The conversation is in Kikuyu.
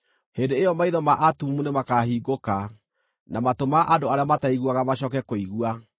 Hĩndĩ ĩyo maitho ma atumumu nĩmakahingũka, na matũ ma andũ arĩa mataiguaga macooke kũigua.